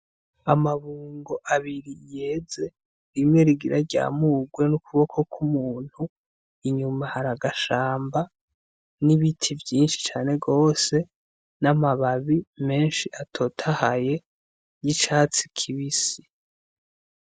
Amabungo abiri yeze rimwe rigira ryamurwe n'ukuboko kw'umuntu, inyuma hari agashamba n'ibiti vyinshi cane gose n'amababi menshi atotahaye y'icatsi kibisi.